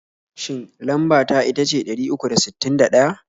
Shin lamba ta itace ɗari uku da sittin da ɗaya?